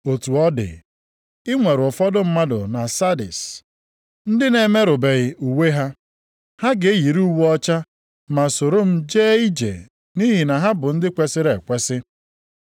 Otu ọ dị, i nwere ụfọdụ mmadụ na Sardis ndị na-emerụbeghị uwe ha. Ha ga-eyiri uwe ọcha ma soro m jee ije nʼihi na ha bụ ndị kwesiri ekwesi.